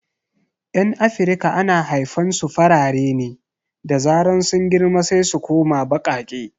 Yan afirika ana haifan su farare ne, da zaran sun girma sai su koma baƙaƙe